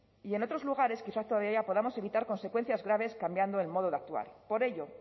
y en otros lugares quizá todavía podamos evitar consecuencias graves cambiando el modo de actuar por ello